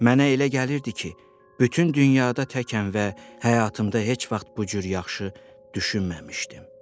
Mənə elə gəlirdi ki, bütün dünyada təkəm və həyatımda heç vaxt bu cür yaxşı düşünməmişdim.